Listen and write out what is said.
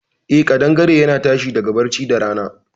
Eh, kaɗangare yana tashi daga barci da rana.